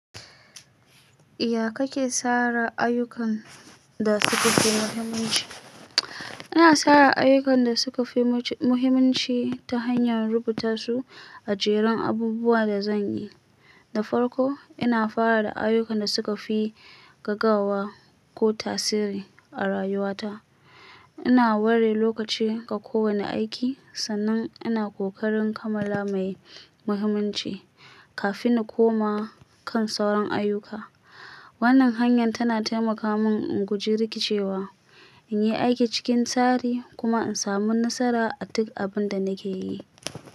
Ya kake tsara ayyukan da suka fi muhimmanci? Ina tsara ayyukan da suka fi muce-muhimanci ta hanyar rubuta su a jerin abubuwa da zan yi. Da farko, ina fara da ayyukan da suka fi gagawa ko tasiri a rayuwata. Ina ware lokaci ga kowane aiki sannan ina kokarin kamala mai muhimmanci kafin in koma kan sauran ayyuka. Wannan hanyar tana taimaka mun in guji rikicewa, in yi aiki cikin tsari kuma in samu nasara a duk abin da nake yi.